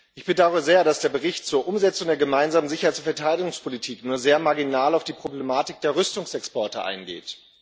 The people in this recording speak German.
Ich bedaure sehr, dass der Bericht zur Umsetzung der gemeinsamen Sicherheits und Verteilungspolitik nur sehr marginal auf die Problematik der Rüstungsexporte eingeht.